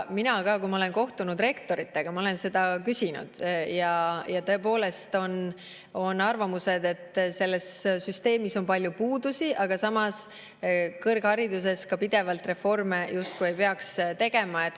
Mina, kui ma olen kohtunud rektoritega, olen seda küsinud ja kuulnud tõepoolest arvamusi, et selles süsteemis on palju puudusi, aga samas kõrghariduses ei peaks pidevalt reforme tegema.